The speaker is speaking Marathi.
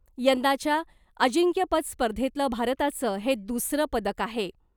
यंदाच्या अजिंक्यपद स्पर्धेतलं भारताचं हे दुसरं पदक आहे .